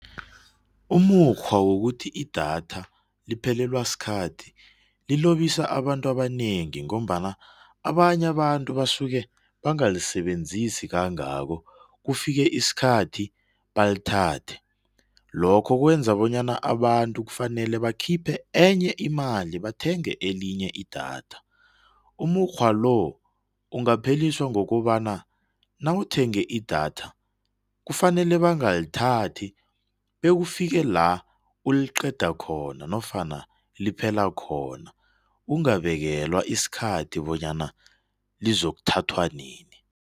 Umukghwa wokuthi idatha liphelelwa sikhathi lilobisa abantu abanengi ngombana abanye abantu basuke bangalisebenzisi kangako kufike isikhathi balithathe. Lokho kwenza bonyana abantu kufanele bakhiphe enye imali bathenge elinye idatha. Umukghwalo, ungapheliswa ngokobana nawuthenge idatha kufanele bangalithathi bekufika lawuliqeda khona nofana liphela khona. Ungabekelwa isikhathi bonyana lizokuthathwa nini.